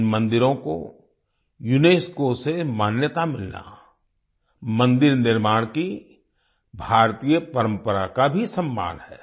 इन मंदिरों को यूनेस्को से मान्यता मिलना मंदिर निर्माण की भारतीय परंपरा का भी सम्मान है